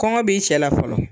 Kɔngɔ b'i cɛla fɔlɔ.